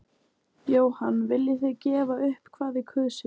Jóhann: Viljið þið gefa upp hvað þið kusuð?